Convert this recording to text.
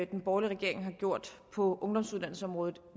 den borgerlige regering har gjort på ungdomsuddannelsesområdet